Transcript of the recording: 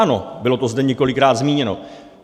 Ano, bylo to zde několikrát zmíněno.